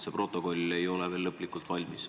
See protokoll ei ole veel lõplikult valmis.